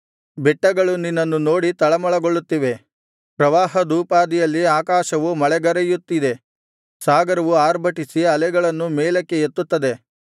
ಬೆಟ್ಟಗಳು ನಿನ್ನನ್ನು ನೋಡಿ ತಳಮಳಗೊಳ್ಳುತ್ತಿವೆ ಪ್ರವಾಹದೋಪಾದಿಯಲ್ಲಿ ಆಕಾಶವು ಮಳೆಗರೆಯುತ್ತಿದೆ ಸಾಗರವು ಆರ್ಭಟಿಸಿ ಅಲೆಗಳನ್ನು ಮೇಲಕ್ಕೆ ಎತ್ತುತ್ತದೆ